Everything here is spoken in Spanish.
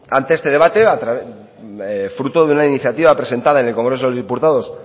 ante este debate fruto de una iniciativa presentada en el congreso de los diputados